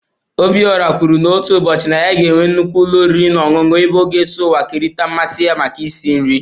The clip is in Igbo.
Obiora kwuru na otu ụbọchị na ya ga-enwe nnukwu ụlọ oriri na ọṅụṅụ ebe ọ ga-eso ụwa kerịta mmasị ya maka isi nri